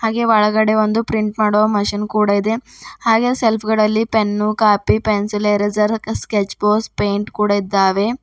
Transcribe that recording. ಹಾಗೆ ಹೊರಗಡೆ ಒಂದು ಪ್ರಿಂಟ್ ಮಾಡುವ ಮಿಷನ್ ಕೂಡ ಇದೆ ಹಾಗೆ ಸೆಲ್ಫ್ ಗಳಲ್ಲಿ ಪೆನ್ನು ಕಾಪಿ ಪೆನ್ಸಿಲ್ ಎರೇಸರ್ ಮತ್ತೆ ಸ್ಕೆಚ್ ಬಾಕ್ಸ್ ಪೇಯಿಂಟ್ ಕೂಡ ಇದ್ದಾವೆ.